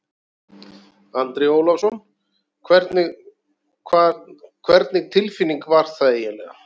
Andri Ólafsson: Hvernig, hvernig tilfinning var það eiginlega?